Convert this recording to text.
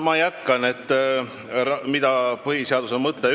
Ma jätkan sellega, mida põhiseadus ütleb.